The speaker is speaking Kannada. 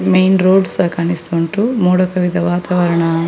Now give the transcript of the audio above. ಮೈನ್‌ ರೋಡ್‌ಸ ಕಾಣಿಸ್ತ ಉಂಟು ಮೋಡ ಕವಿದ ವಾತಾವರಣ --